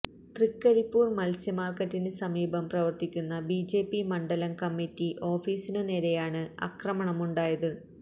തൃക്കരിപ്പൂര് മത്സ്യ മാര്ക്കറ്റിന് സമീപം പ്രവര്ത്തിക്കുന്ന ബിജെപി മണ്ഡലം കമ്മിറ്റി ഓഫീസിനുനേരെയാണ് ആക്രമണമുണ്ടായത്